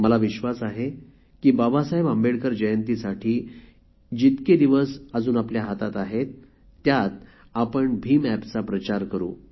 मला विश्वास आहे की बाबासाहेब आंबेडकर जयंतीसाठी जितके दिवस अजून आपल्या हातात आहेत त्यात आपण भीम एपचा प्रचार करू